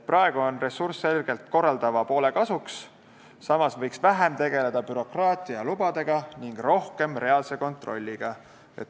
Praegu on ressurss selgelt korraldava poole kasuks, samas võiks vähem tegeleda bürokraatia ja lubadega ning rohkem reaalse kontrolliga.